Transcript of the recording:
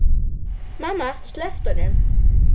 Mamma sleppti honum.